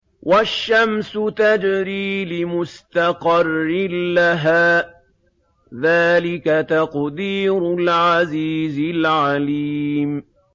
وَالشَّمْسُ تَجْرِي لِمُسْتَقَرٍّ لَّهَا ۚ ذَٰلِكَ تَقْدِيرُ الْعَزِيزِ الْعَلِيمِ